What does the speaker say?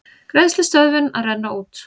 Greiðslustöðvun að renna út